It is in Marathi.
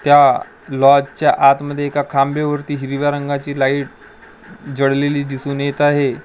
त्या लॉजच्या आतमध्ये एका खांबेवरती एका हिरव्या रंगाची लाईट जळलेली दिसून येत आहे .